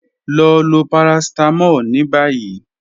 Lọ lo paracetamol ni bayi.